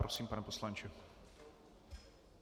Prosím, pane poslanče.